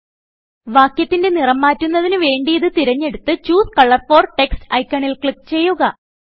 വാക്യത്തിന്റെ നിറം മാറ്റുന്നതിന് വേണ്ടിയിത് തിരഞ്ഞെടുത്ത് ചൂസെ കളർ ഫോർ ടെക്സ്റ്റ് ഐക്കണിൽ ക്ലിക്ക് ചെയ്യുക